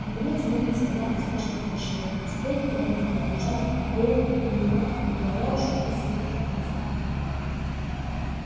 наконец мельница была успешно завершена и теперь ферме принадлежали веялка и элеватор не говоря уж о нескольких новых зданиях